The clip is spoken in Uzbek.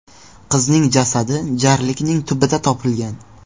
Qizning jasadi jarlikning tubida topilgan.